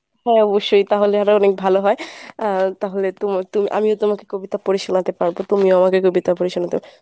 হ্যাঁ অবশ্যই তাহলে আরো অনেক ভালো হয়। আহ তাহলে তোমার তুমি আমিও তোমাকে কবিতা পড়ে শোনাতে পারব তুমিও আমাকে কবিতা পড়ে শোনাতে